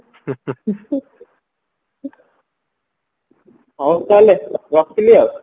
ହଉ ତାହାଲେ ରଖିଲି ଆଉ